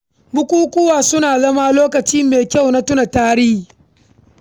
Bukukuwa suna zama lokaci mai kyau na tunawa da tarihi.